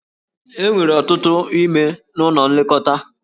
E nwere ọtụtụ ime n'ụlọ nlekọta.